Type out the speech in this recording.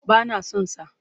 Ba na son sa.